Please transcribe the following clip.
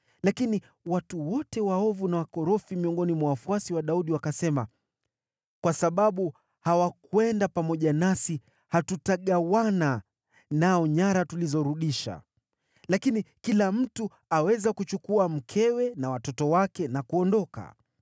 Lakini watu wote waovu na wakorofi miongoni mwa wafuasi wa Daudi wakasema, “Kwa sababu hawakwenda pamoja nasi, hatutagawana nao nyara tulizorudisha. Lakini, kila mtu aweza kuchukua mkewe na watoto wake na kuondoka.”